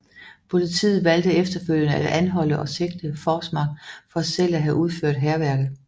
Politiet valgte efterfølgende at anholde og sigte Forsmark for selv at have udført hærværket